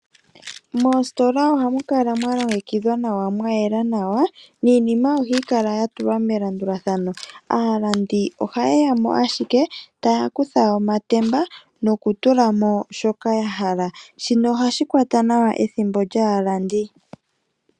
Moositola oha mukala mwalongekidhwa, mwayela nawa, niinima oha yi kala ya tulwa melandulathano. Aalandi oha ye ya owala eta yakutha omatemba nokutulamo shoka yahala. Shika oha shi kwata nawa ethimbo lyaalandi.